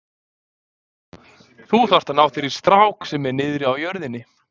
Þú þarft að ná þér í strák sem er niðri á jörðinni.